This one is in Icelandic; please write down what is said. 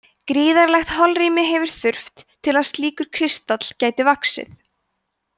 gríðarlegt holrými hefur þurft til að slíkur kristall gæti vaxið